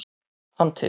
hann til.